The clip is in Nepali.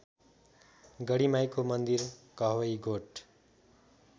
गढीमाईको मन्दिर कवहीगोठ